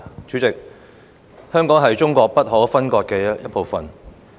主席，香港是中國不可分割的一部分。